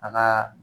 A ka